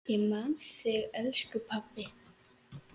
Ég man þig, elsku pabbi.